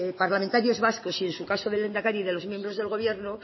parlamentarios vascos y en su caso de lehendakari y de los miembros del gobierno